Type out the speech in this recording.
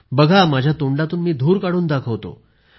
बघा माझ्या तोंडातून मी धूर काढून दाखवतो